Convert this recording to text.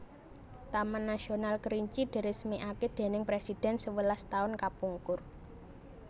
Taman Nasional Kerinci diresmiake dening presiden sewelas taun kapungkur